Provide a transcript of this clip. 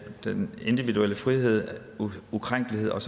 den individuelle frihed og ukrænkelighed og